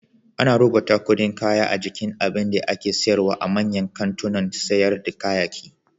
Ana rubuta kuɗin kaya a jikin abinda ake syarwa a manyan kantunan sayar da kayayyaki.